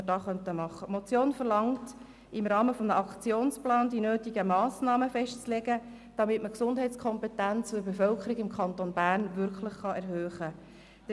Die Motion verlangt, im Rahmen eines Aktionsplans die nötigen Massnahmen festzulegen, damit man die Gesundheitskompetenz der Bevölkerung im Kanton Bern wirklich erhöhen kann.